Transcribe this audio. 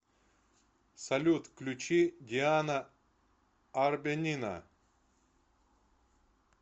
салют включи диана арбенина